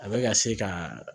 A bɛ ka se ka